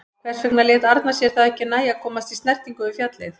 Hvers vegna lét Arnar sér það ekki nægja að komast í snertingu við fjallið?